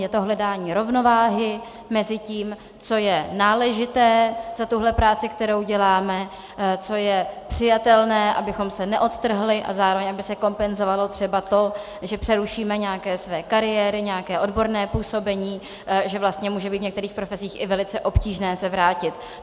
Je to hledání rovnováhy mezi tím, co je náležité za tuhle práci, kterou děláme, co je přijatelné, abychom se neodtrhli a zároveň aby se kompenzovalo třeba to, že přerušíme nějaké své kariéry, nějaké odborné působení, že vlastně může být v některých profesích i velice obtížné se vrátit.